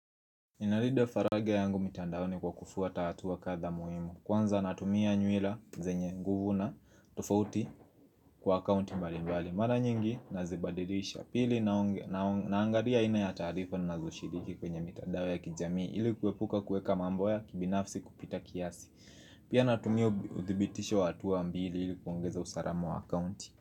Inarida faraja yangu mitandaoni kwa kufuata hatua katha muhimu Kwanza natumia nyuila zenye nguvu na tofauti kwa account mbali mbali Mara nyingi nazibadirisha pili naangalia aina ya tarifa na nazo shiriki kwenye mitandao ya kijamii ili kuepuka kueka mambo ya kibinafsi kupita kiasi Pia natumia uthibitisho wa hatua mbili ili kuongeza usalamu wa account.